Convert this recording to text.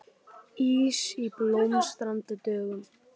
Ís á Blómstrandi dögum